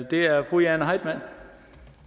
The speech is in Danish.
det er fru jane heitmann